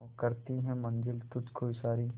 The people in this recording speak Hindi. करती है मंजिल तुझ को इशारे